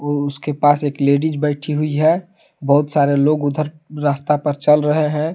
और उसके पास एक लेडिस बैठी हुई है बहुत सारे लोग उधर रास्ता पर चल रहे हैं।